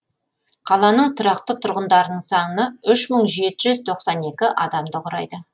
қаланың тұрақты тұрғындарының саны үш мың жеті жүз тоқсан екі адамды құрайды